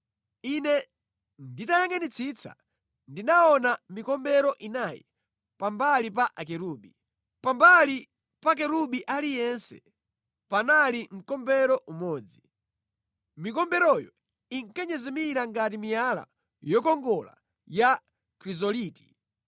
Ine nditayangʼanitsitsa ndinaona mikombero inayi pambali pa akerubi. Pambali pa kerubi aliyense panali mkombero umodzi; mikomberoyo inkanyezimira ngati miyala yokongola ya krizoliti.